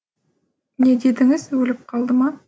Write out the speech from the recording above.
не дедіңіз өліп қалды ма